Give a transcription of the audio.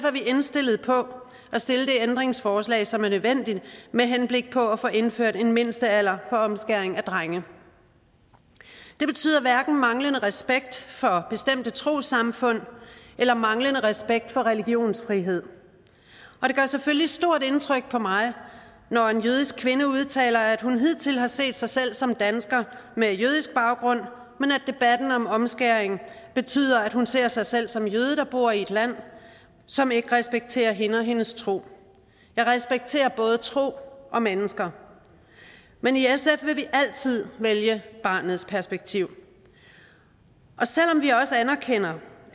er vi indstillet på at stille det ændringsforslag som er nødvendigt med henblik på at få indført en mindstealder for omskæring af drenge det betyder hverken manglende respekt for bestemte trossamfund eller manglende respekt for religionsfrihed og det gør selvfølgelig stort indtryk på mig når en jødisk kvinde udtaler at hun hidtil har set sig selv som dansker med jødisk baggrund men at debatten om omskæring betyder at hun nu ser sig selv som jøde der bor i et land som ikke respekterer hende og hendes tro jeg respekterer både tro og mennesker men i sf vil vi altid vælge barnets perspektiv og selv om vi også anerkender